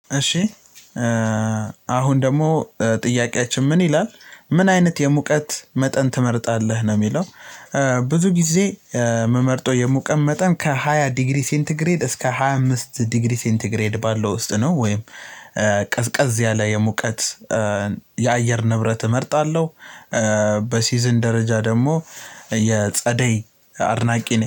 እሽ አሁን ደግሞ ጥያቄያችን ምን ይላል ምን አይነት የሙቀት መጠን ትመርጣለህ? ነው የሚለው ብዙ ጊዜ የምመርጠው የሙቀት መጠን ከሃያ ዲግሪ ሴንቲግሬድ ባለው ውስጥ ነው። ወይም ቀዝቀዝ ያለ የሙቀት የአየር ንብረት እመርጣለሁ። በሲዝን ደረጃ ደግሞ የጸደይ አድናቂ ነኝ።